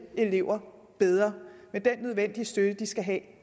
elever bedre med den nødvendige støtte de skal have